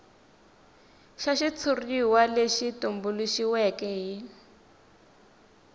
xa xitshuriwa lexi tumbuluxiweke xi